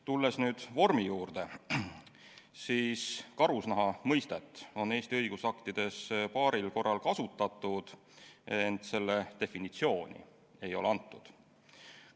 Tulles nüüd eelnõu juurde, siis karusnaha mõistet on Eesti õigusaktides paaril korral kasutatud, ent selle definitsiooni ei ole antud.